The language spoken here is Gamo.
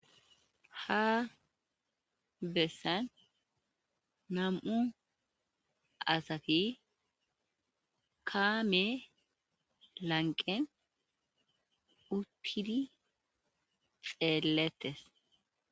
Ha bessan nam'u asati kamme lanqqen uttidi xelletes.